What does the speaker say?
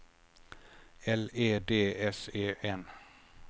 L E D S E N